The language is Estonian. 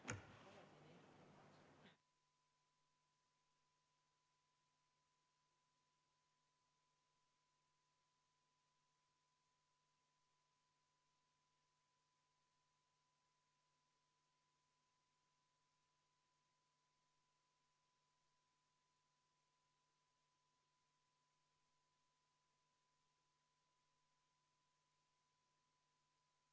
V a h e a e g Head kolleegid, oleme tehnilised tõrked kõrvaldanud.